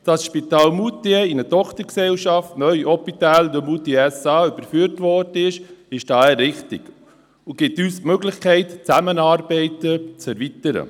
Dass das Spital Moutier in eine Tochtergesellschaft, neu Hôpital Moutier SA, überführt wurde, ist daher richtig und gibt uns die Möglichkeit, Zusammenarbeiten zu erweitern.